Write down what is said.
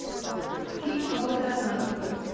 фильм а вот и она открой